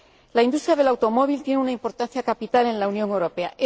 La industria del automóvil tiene una importancia capital en la Unión Europea.